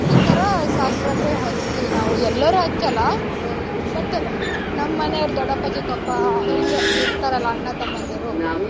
ಆ ತರ ಶಾಸ್ತ್ರಕ್ಕೆ ಹಚ್ತೀವಿ ನಾವು ಎಲ್ಲರೂ ಹಚ್ಚಲ್ಲ ಆಹ್ but ನಮ್ ಮನೆಯವ್ರ್ ದೊಡ್ಡಪ್ಪ, ಚಿಕ್ಕಪ್ಪ, ಹಿಂಗೆ ಇರ್ತಾರಲ್ಲ ಅಣ್ಣ, ತಮ್ಮನ್ದಿರು,